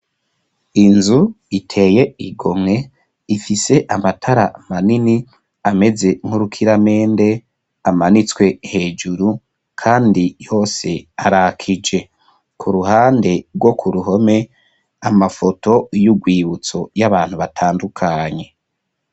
Inzu, iteye igomwe, ifise amatara manini, ameze nk'urukiramende, amanitswe hejuru, kandi yose, arakije; ku ruhande, rwo ku ruhome, amafoto y'urwibutso, y'abantu batandukanye.